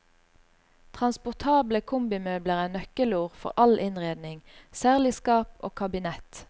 Transportable kombimøbler er nøkkelord for all innredning, særlig skap og kabinett.